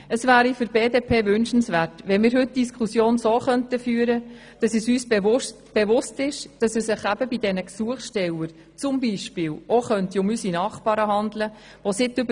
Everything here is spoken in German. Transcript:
Es wäre für die BDP wünschenswert, wenn wir heute die Diskussion im Bewusstsein führten, dass es sich bei den Gesuchstellern auch um unsere Nachbarn handeln könnte.